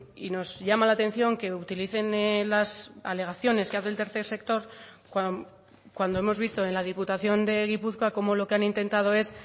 y nos llama la atención que utilicen las alegaciones que hace el tercer sector cuando hemos visto en la diputación de gipuzkoa cómo lo que han intentado es